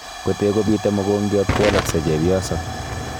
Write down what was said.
Kotee kobitee mogongiat kowalaksei chebyoso